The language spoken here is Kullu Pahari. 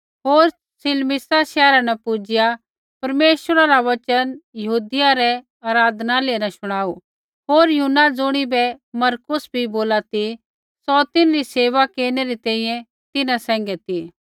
होर सलमीसा शैहरा न पुजिआ परमेश्वरा रा वचन यहूदियै रै आराधनालय न शुणाऊ होर यूहन्ना ज़ुणिबै मरकुस बी बोला ती सौ तिन्हरी सेवा केरनै री तैंईंयैं तिन्हां सैंघै ती